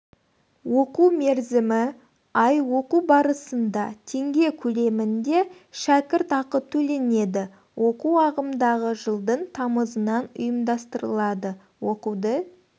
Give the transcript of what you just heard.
оқу мерзімі ай оқу барысында теңге көлемінде шәкірт ақы төленеді оқу ағымдағы жылдың тамызынан ұйымдастырылады оқуды